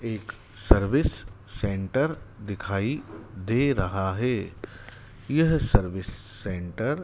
एक service centre दिखाई दे रहा है यह सर्विस सेंटर --